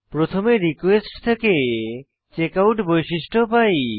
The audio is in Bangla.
প্রথমে রিকোয়েস্ট থেকে চেকআউট বৈশিষ্ট্য পাই